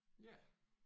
Ja